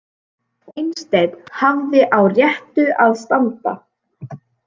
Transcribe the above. Einstein hafði á réttu að standa